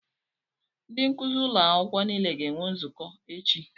Ndị nkuzi ụlọ akwụkwọ niile ga-enwe nzukọ echi.